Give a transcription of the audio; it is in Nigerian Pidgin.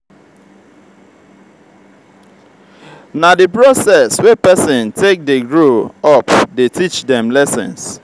na di process wey pesin take dey grow up dey teach dem lessons.